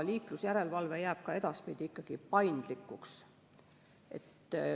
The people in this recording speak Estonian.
Liiklusjärelevalve jääb ka edaspidi ikkagi paindlikuks.